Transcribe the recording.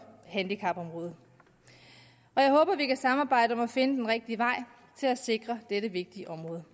handicapområdet jeg håber vi kan samarbejde om at finde den rigtige vej til at sikre dette vigtige område